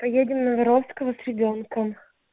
поедем на воровского с ребёнком